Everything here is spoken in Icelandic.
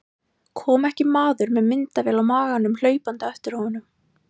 Kom ekki maður með myndavél á maganum hlaupandi á eftir honum.